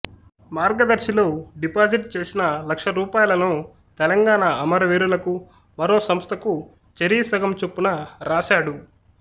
మార్గదర్శిలో deposit చేసిన లక్ష రూపాయలను తెలంగాణ అమర వీరులకు మరో సంస్థకు చెరి సగం చొప్పున రాశాడు